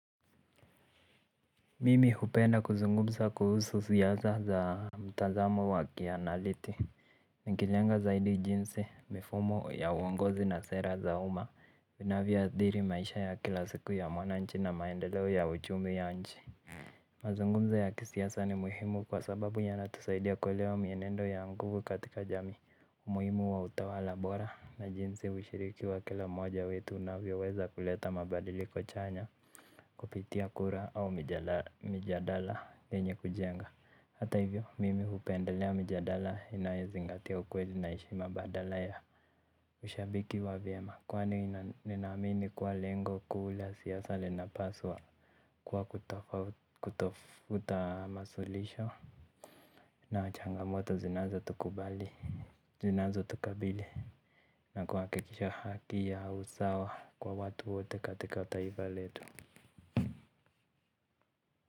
Mimi hupenda kuzungumza kuhusu siasa za mitazamo wa kianaliti nikijenga zaidi jinsi mifumo ya uongozi na sera za umma zinavyoathiri maisha ya kila siku ya mwananchi na maendeleo ya uchumi ya nchi. Mazungumzo ya kisiasa ni muhimu kwa sababu yanatusaidia kuelewa mienendo ya nguvu katika jamii. Umuhimu wa utawala bora na jinsi ushiriki wa kila mmoja wetu unavyoweza kuleta mabadiliko chanya kupitia kura au mijadala yenye kujenga. Hata hivyo mimi hupendelea mijadala inayozingatia ukweli na heshima badala ya ushabiki wa vyema, kwani ninaamini kuwa lengo kuu la siasa linapaswa kuwa kutafuta masuluhisho na changamoto zinazotukubali. Zinazotukabili. Na kuhakikisha haki ya usawa kwa watu wote katika taifa letu.